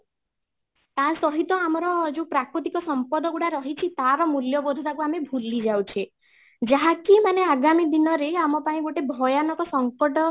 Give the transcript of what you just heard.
ତା ସହିତ ଆମର ଯୋଉ ପ୍ରାକୃତିକ ସମ୍ପଦ ଗୁଡ଼ା ରହିଛି ତାର ମୂଲ୍ୟ ବୋଧେ ତାକୁ ଆମେ ଭୁଲି ଯାଉଛେ ଯାହାକି ମାନେ ଆଗାମୀ ଦିନରେ ଆମ ପାଇଁ ଗୋଟେ ଭୟାନକ ସଙ୍କଟ